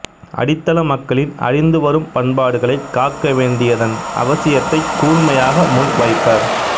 அடித்தள மக்களின் அழிந்து வரும் பண்பாடுகளை காக்கவேண்டியதன் அவசியத்தைக் கூர்மையாக முன்வைப்பவர்